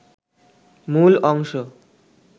মূল অংশ